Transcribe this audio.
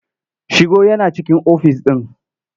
Shigo yana cikin ofis ɗin.